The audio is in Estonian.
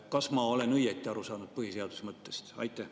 Kas ma olen põhiseaduse mõttest õigesti aru saanud?